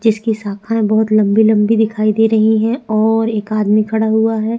जिसकी शाखायें बहुत लम्बी - लम्बी दिखाई दे रही है और एक आदमी खड़ा हुआ है।